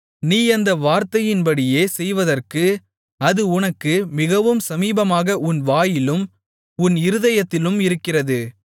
நீ அந்த வார்த்தையின்படியே செய்வதற்கு அது உனக்கு மிகவும் சமீபமாக உன் வாயிலும் உன் இருதயத்திலும் இருக்கிறது